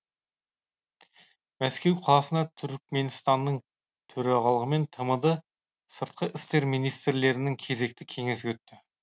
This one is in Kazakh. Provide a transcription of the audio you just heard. мәскеу қаласында түркіменстанның төрағалығымен тмд сыртқы істер министрлерінің кезекті кеңесі өтті